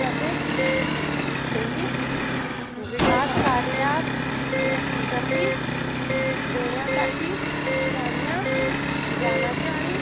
तसेच विकासकार्यात गती देण्यासाठी त्यांना ज्ञानाची आणि